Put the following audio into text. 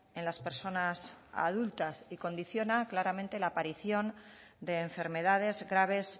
en las personas adultas y condiciona claramente la aparición de enfermedades graves